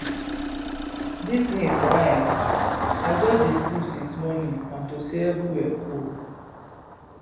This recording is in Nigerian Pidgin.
dis rain try eh i just dey sleep since morning unto say everywhere cold.